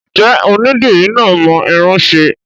Ǹjẹ́ onídìrí náà mọ irun ṣe?